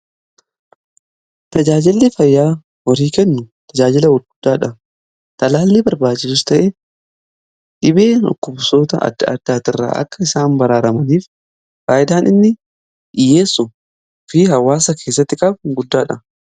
tajaajilli fayyaa horii kennu tajaajila guddaadha. talaalli barbaaduu ta'ee dhibee dhukkubsoota adda addaa irraa akka isaan baraaramaniif faayidaan inni dhiyyeessu fi hawaasa keessatti qabu inni qabu guddaadha.